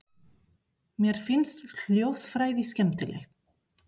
Mér finnst hljóðfræði skemmtileg.